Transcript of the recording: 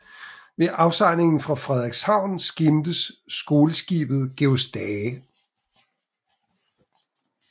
Ved afsejlingen fra Frederikshavn skimtes skoleskibet Georg Stage